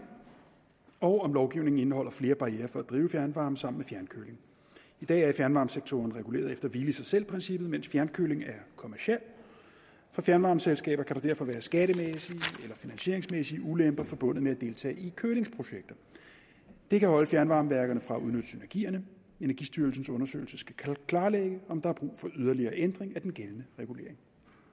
og om lovgivningen indeholder flere barrierer for at drive fjernvarme sammen med fjernkøling i dag er fjernvarmesektoren reguleret efter hvile i sig selv princippet mens fjernkøling er kommerciel for fjernvarmeselskaber kan der derfor være skattemæssige eller finansieringsmæssige ulemper forbundet med at deltage i kølingsprojekter det kan afholde fjernvarmeværkerne fra at udnytte synergierne energistyrelsens undersøgelse skal klarlægge om der er brug for yderligere ændring af den gældende regulering